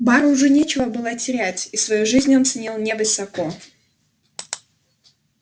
бару уже нечего было терять и свою жизнь он ценил невысоко